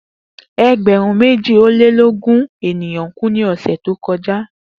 Egberun meji o le ogun eniyan ku ni ọsẹ to kọja